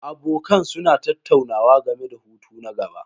Abokan suna tattaunawa game da hutu na gaba.